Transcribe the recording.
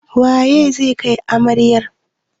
Wa zai kai amarayar?